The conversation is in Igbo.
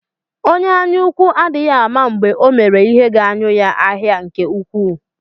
Onye anyaúkwú adịghị ama mgbe Ọ mèrè ihe ga-anyi ya ahịa nke ukwuu.